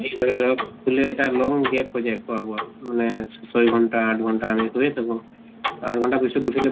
কি কৰে ধৰক শুলে এটা long gap হৈ যায় খোৱা বোৱা মানে ছয় ঘন্টা আঠ ঘন্টা আমি শুইয়ে থাকো। আঠ ঘন্টা পিছত উঠিলে